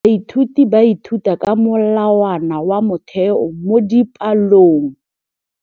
Baithuti ba ithuta ka molawana wa motheo mo dipalong.